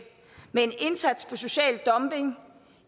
med en indsats social dumping